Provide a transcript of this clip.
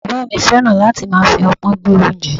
Bàbá mi fẹ́ràn láti máa fi opon gbé oúnjẹ.